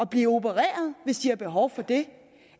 blive opereret hvis de har behov for det